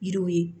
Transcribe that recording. Yiriw ye